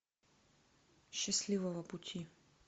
счастливого пути